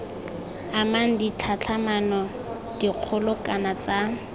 amang ditlhatlhamano dikgolo kana tsa